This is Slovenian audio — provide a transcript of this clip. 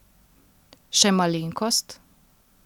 Še malenkost?